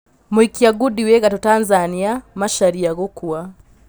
Mũikia ngũndi wĩ gatũ Tanzania Macharia gũkua.